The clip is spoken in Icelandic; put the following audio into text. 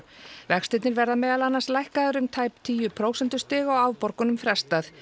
vextirnir verða meðal annars lækkaðir um tæp tíu prósentustig og afborgunum frestað